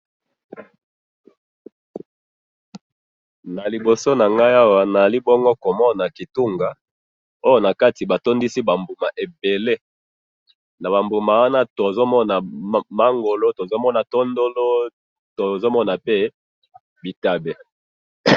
Naliboso awa na moni kitunga na kati batondisi ba mbuma ebele, na ba mbuma wana tozomona mangolo, bitabe...